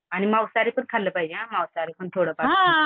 आणि मांसाहारी पण खाल्लं पाहिजे हां मांसाहारी पण थोडंफार